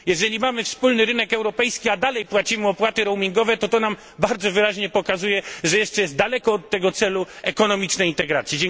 Jeżeli mamy wspólny rynek europejski, a dalej płacimy opłaty roamingowe, to to nam bardzo wyraźnie pokazuje, że jeszcze jest daleko do tego celu ekonomicznej integracji.